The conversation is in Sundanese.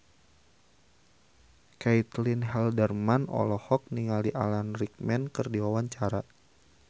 Caitlin Halderman olohok ningali Alan Rickman keur diwawancara